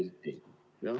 Nägite pilti?